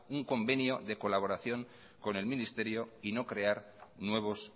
un convenio de colaboración con el ministerio y no crear nuevos